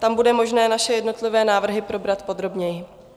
Tam bude možné naše jednotlivé návrhy probrat podrobněji.